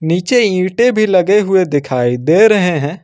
नीचे ईंटे भी लगे हुए दिखाई दे रहे हैं।